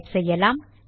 type செய்யலாம்